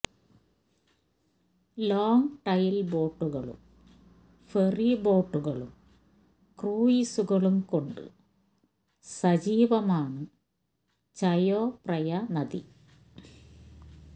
long tail ബോട്ടുകളും ferry ബോട്ടുകളും ക്രൂയിസ്കളും കൊണ്ട് സജീവമാണ് ചയോ പ്രയ നദി